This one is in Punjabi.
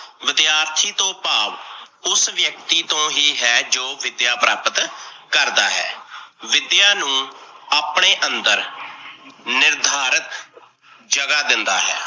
ਵਿਦਿਆਰਥੀ ਤੋਂ ਭਾਵ ਉਸ ਵਿਅਕਤੀ ਤੋਂ ਹੀ ਹੈ, ਜੋ ਵਿਦਿਆ ਪ੍ਰਾਪਤ ਕਰਦਾ ਹੈ, ਵਿਦਿਆ ਨੂੰ ਆਪਣੇ ਅੰਦਰ ਨਿਰਧਾਰਤ ਜਗਾ ਦਿੰਦਾ ਹੈ।